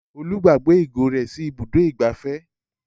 Olú gbàgbé ìgò rẹ̀ sí Ibùdó-ìgbafẹ́.